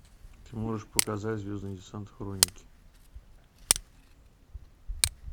ты можешь показать звездный десант хроники